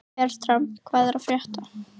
Fertram, hvað er að frétta?